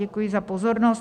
Děkuji za pozornost.